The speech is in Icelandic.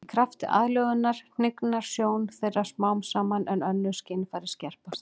Í krafti aðlögunar hnignar sjón þeirra smám saman en önnur skynfæri skerpast.